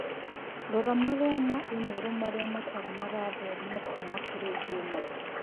rora marũa ma i-mīrū marĩa matarĩ marathomwo kũma kurĩ Juma.